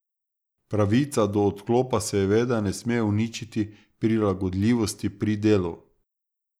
Pravica do odklopa seveda ne sme uničiti prilagodljivosti pri delu.